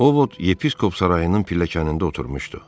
Ovod yepiskop sarayının pilləkənində oturmuşdu.